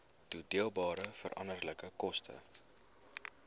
toedeelbare veranderlike koste